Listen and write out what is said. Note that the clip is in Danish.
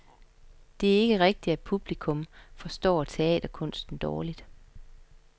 Det er ikke rigtigt, at publikum forstår teaterkunsten dårligt.